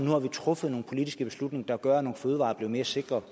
har truffet nogle politiske beslutninger der gør at nogle fødevarer er blevet mere sikre